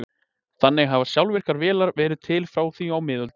þannig hafa sjálfvirkar vélar verið til frá því á miðöldum